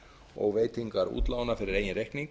og veitingar útlána fyrir eigin reikning